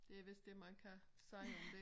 Det vist det man kan sige om det